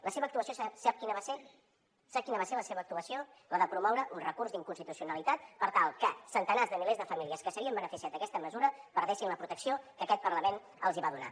la seva actuació sap quina va ser sap quina va ser la seva actuació la de promoure un recurs d’inconstitucionalitat per tal que centenars de milers de famílies que s’havien beneficiat d’aquesta mesura perdessin la protecció que aquest parlament els hi va donar